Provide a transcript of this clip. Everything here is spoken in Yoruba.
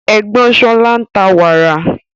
Ègbón Sola ń ta wàrà